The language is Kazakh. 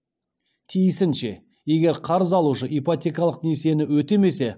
тиісінше егер қарыз алушы ипотекалық несиені өтемесе